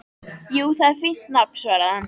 Jú, það er fínt nafn, svaraði hann.